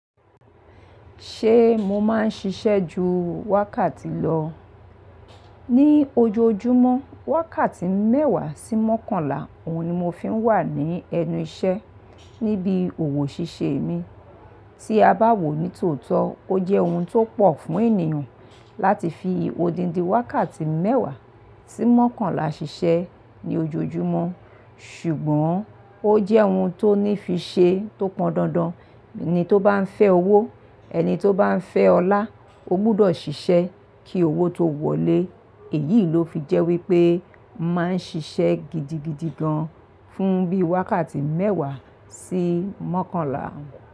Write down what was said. Ṣé mo máa ń ṣiṣẹ́ ju wákàtí lọ? Ni ojoojúmọ́, wákàtí mẹ́wàá sí mọ́kànlá òun ni mo fi ń wà ní ẹnu iṣẹ́ níbi òwò ṣíṣe mi. Tí a bá wò ó ní tòótọ́, ó jẹ́ ohun tó pọ̀ fún ènìyàn láti fi odindi wákàtí mẹ́wàá sí mọ́kànlá ṣiṣẹ́ ní ojoojúmọ́. Ṣùgbọ́n ó jẹ́ ohun tó ní fi ṣe tó pọndandan. Ẹni tó bá ń fẹ́ owó, ẹni tó bá ń fẹ́ ọlá, ó gbọdọ̀ ṣiṣẹ́ kí owó tó wọlé. Èyí ló fi jẹ́ wípé mo màá ń ṣiṣẹ́ gidigidi gan fún bí i wákàtí mẹ́wàá sí mọ́kànlá.